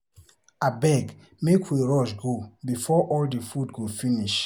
Abeg make we rush go before all the food go finish.